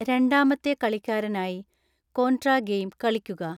രണ്ടാമത്തെ കളിക്കാരനായി Contra game കളിക്കുക